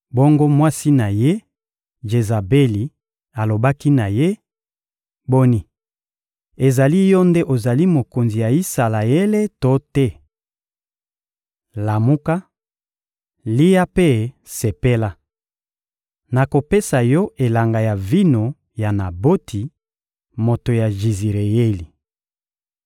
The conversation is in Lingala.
Bongo mwasi na ye, Jezabeli, alobaki na ye: — Boni, ezali yo nde ozali mokonzi ya Isalaele to te? Lamuka! Lia mpe sepela! Nakopesa yo elanga ya vino ya Naboti, moto ya Jizireyeli.